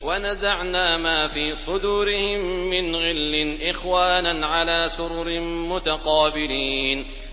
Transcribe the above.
وَنَزَعْنَا مَا فِي صُدُورِهِم مِّنْ غِلٍّ إِخْوَانًا عَلَىٰ سُرُرٍ مُّتَقَابِلِينَ